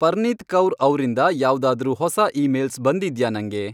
ಪರ್ನೀತ್ ಕೌರ್ ಅವ್ರಿಂದ ಯಾವ್ದಾದ್ರೂ ಹೊಸಾ ಈಮೇಲ್ಸ್ ಬಂದಿದ್ಯಾ ನಂಗೆ